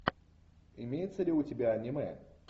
имеется ли у тебя аниме